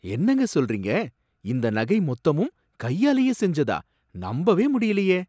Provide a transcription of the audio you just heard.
என்னங்க சொல்றீங்க! இந்த நகை மொத்தமும் கையாலயே செஞ்சதா, நம்பவே முடியலயே!